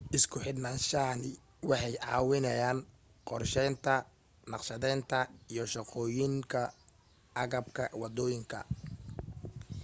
isku xidhnaanshahani waxay caawinayaan qorshaynta, naqshadaynta, iyo shaqooyinka agabka wadooyinka